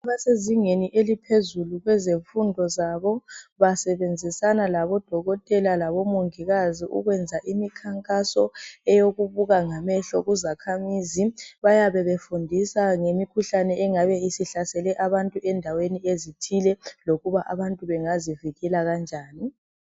Abasezingeni eliphezulu kwezemfundo zabo basebenzisa labodokotela labomongikazi ukwenza imikhankaso yokubuka ngamehlo kuzakhamizi. Bayabe befundisa ngemikhuhlane engabe isihlasele abantu endaweni ezithile lokuthi abantu bangazivikela kanjani.